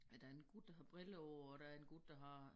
Øh der en gut der har briller på og der en gut der har